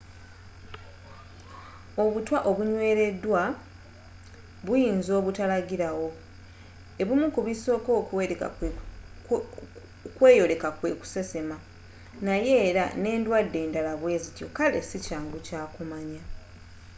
obutwa obunnweleddwa buyinza obutalagila wo ebimu ku bisoka okweyoleka kwe kusesema naye era n'eddwade enddala bwezityo kale sikyangu kumanya